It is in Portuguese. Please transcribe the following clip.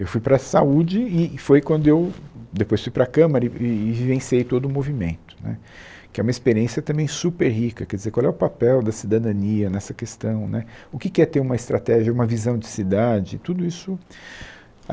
Eu fui para a saúde e foi quando eu depois fui para a Câmara e e vivenciei todo o movimento né, que é uma experiência também super rica, quer dizer, qual é o papel da cidadania nessa questão né, o que que é ter uma estratégia, uma visão de cidade, tudo isso.